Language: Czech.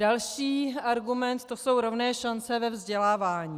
Další argument, to jsou rovné šance ve vzdělávání.